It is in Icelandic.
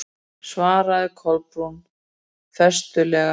svaraði Kolbrún festulega.